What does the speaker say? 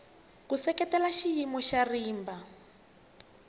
ku seketela xiyimo xa rimba